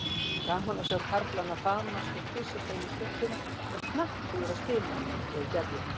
Gaman var að sjá karlana faðmast og kyssast eina stundina og hnakkrífast hina segir Gerður.